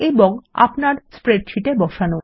এবং আপনার স্প্রেডশীটে বসানো